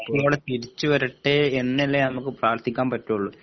തിരിച്ചു വരട്ടെ എന്നല്ലേ നമുക്ക് പ്രാർത്ഥിക്കാൻ പറ്റോള്ളൂ